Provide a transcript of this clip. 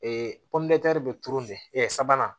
pɔnpe bɛ turu nin sabanan